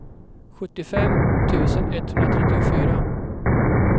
sjuttiofem tusen etthundratrettiofyra